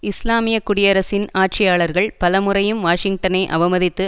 இஸ்லாமிய குடியரசின் ஆட்சியாளர்கள் பல முறையும் வாஷிங்டனை அவமதித்து